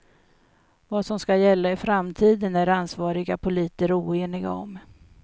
Vad som skall gälla i framtiden är ansvariga politiker oeniga om.